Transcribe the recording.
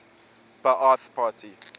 ba ath party